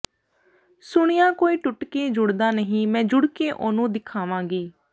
ਸੁਣਿਆ ਕੋਈ ਟੁੱਟ ਕੇ ਜੁੜਦਾ ਨਹੀਂ ਮੈਂ ਜੁੜ ਕੇ ਉਹਨੂੰ ਦਿਖਵਾਂਗੀ